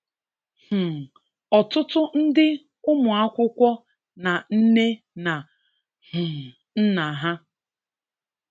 um Ọtụtụ ndị ụmụakwụkwo na nne na um nna ha